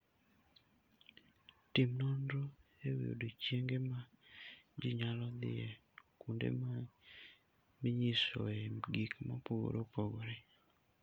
Tim nonro e wi odiechienge ma ji nyalo dhiye kuonde minyisoe gik mopogore opogore.